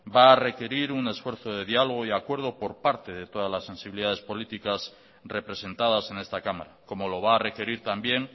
va a requerir un esfuerzo de diálogo y acuerdo por parte de todas las sensibilidades políticas representadas en esta cámara como lo va a requerir también